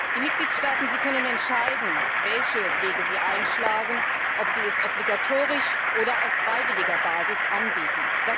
Die Mitgliedstaaten können entscheiden, welche Wege sie einschlagen, ob sie diese Absicherung obligatorisch oder auf freiwilliger Basis anbieten.